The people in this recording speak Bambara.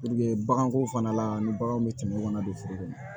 baganko fana la ni baganw bɛ tɛmɛ o kan don furu kɔnɔ